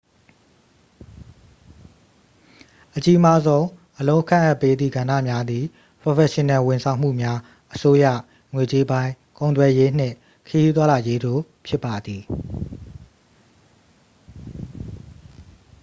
အကြီးမားဆုံး အလုပ်ခန့်အပ်ပေးသည့်ကဏ္ဍများသည် ပရော်ဖက်ရှင်နယ်ဝန်ဆောင်မှုများ အစိုးရ ငွေကြေးပိုင်း ကုန်သွယ်ရေး နှင့် ခရီးသွားလာရေးတို့ ဖြစ်ပါသည်